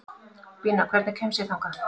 Bína, hvernig kemst ég þangað?